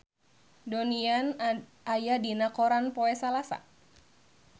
Donnie Yan aya dina koran poe Salasa